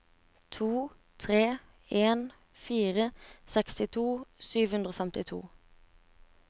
to tre en fire sekstito sju hundre og femtito